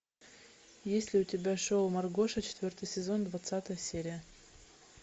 есть ли у тебя шоу маргоша четвертый сезон двадцатая серия